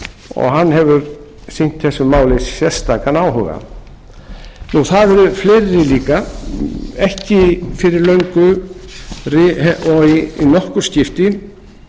og hann hefur sýnt þessu máli sérstakan áhuga það eru fleiri líka ekki fyrir löngu og í nokkur skipti